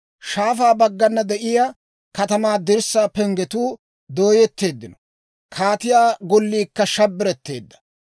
Shaafaa baggana de'iyaa katamaa dirssaa penggetuu dooyetteeddino; kaatiyaa golliikka shabbiretteedda.